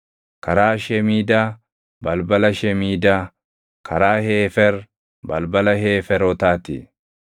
karaa Shemiidaa, balbala Shemiidaa; karaa Heefer, balbala Heeferotaa ti.